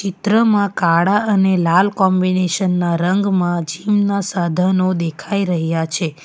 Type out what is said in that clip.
ચિત્ર માં કાળા અને લાલ કોમ્બિનેશન ના રંગમાં જીમ ના સાધનો દેખાઈ રહ્યા છે.